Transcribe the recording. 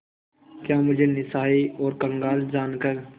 क्या मुझे निस्सहाय और कंगाल जानकर